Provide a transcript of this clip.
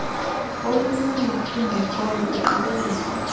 olululo lungekhoyo iingqikelelo